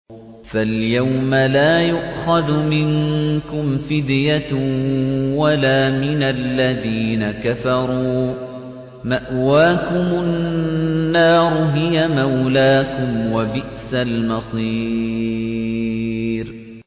فَالْيَوْمَ لَا يُؤْخَذُ مِنكُمْ فِدْيَةٌ وَلَا مِنَ الَّذِينَ كَفَرُوا ۚ مَأْوَاكُمُ النَّارُ ۖ هِيَ مَوْلَاكُمْ ۖ وَبِئْسَ الْمَصِيرُ